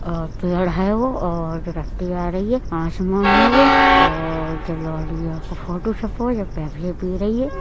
और पेड़ है वो और आ रही है। आसमान है वो और रही है।